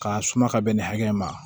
K'a suma ka bɛn nin hakɛ in ma